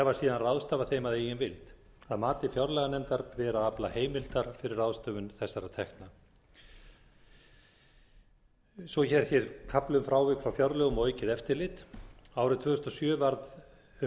þær hafa síðan ráðstafað þeim að eigin vild að mati fjárlaganefndar ber að afla heimilda fyrir ráðstöfun þessara tekna svo er hér kafli um frávik frá fjárlögum og aukið eftirlit árið tvö þúsund og sjö varð um